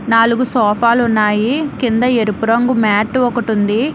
నాలుగు సోఫాలు ఉన్నాయి కింద ఎరుపు రంగు మ్యాటు ఒకటుంది.